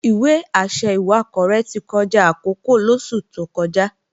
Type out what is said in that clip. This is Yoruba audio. Ìwé-àṣẹ ìwakọ̀ rẹ̀ ti kọjá àkókò lóṣù tó kọjá